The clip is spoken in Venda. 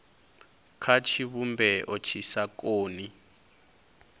kha tshivhumbeo tshi sa koni